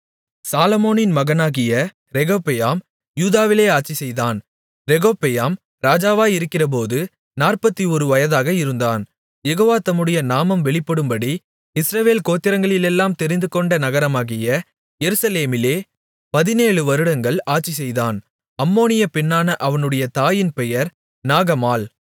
சாலொமோனின் மகனாகிய ரெகொபெயாம் யூதாவிலே ஆட்சிசெய்தான் ரெகொபெயாம் ராஜாவாகிறபோது 41 வயதாக இருந்து யெகோவா தம்முடைய நாமம் வெளிப்படும்படி இஸ்ரவேல் கோத்திரங்களிலெல்லாம் தெரிந்துகொண்ட நகரமாகிய எருசலேமிலே 17 வருடங்கள் ஆட்சிசெய்தான் அம்மோனிய பெண்ணான அவனுடைய தாயின் பெயர் நாகமாள்